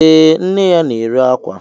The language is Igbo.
Ee, nne ya na-ere akwa